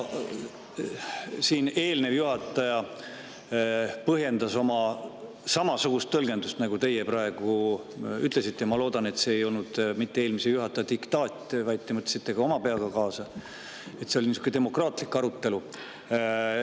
Siin eelnev juhataja põhjendas oma samasugust tõlgendust, nagu teie praegu ütlesite – ma loodan, et see ei olnud mitte eelmise juhataja diktaat, vaid te mõtlesite ka oma peaga kaasa ja et see oli demokraatlik arutelu.